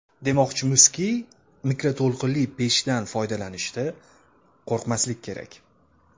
Demoqchimizki, mikroto‘lqinli pechdan foydalanishda qo‘rqmaslik kerak.